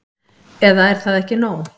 Eða er það ekki nóg?